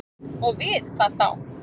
Og við hvað þá?